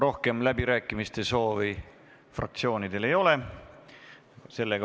Rohkem läbirääkimiste soovi fraktsioonidel ei ole.